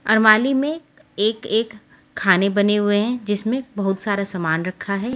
कवाली में एक एक खाने बने हुए है जिसमे बोहोत सारा सामान रखा हुआ है।